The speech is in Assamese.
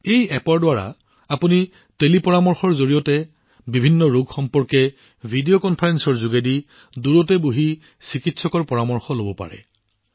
এই এপ্প টেলিপৰামৰ্শৰ জৰিয়তে অৰ্থাৎ দূৰত বহি থাকোঁতে ভিডিঅ কনফাৰেন্সৰ জৰিয়তে আপোনালোকে ৰোগৰ বিষয়ে চিকিৎসকৰ পৰামৰ্শ লব পাৰে